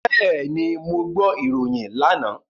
Bẹ́ẹ̀ni, mo gbọ́ ìròyìn lánàá.